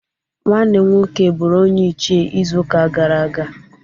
Nwanne m nwoke buru onye Ichịe izu uka gara aga.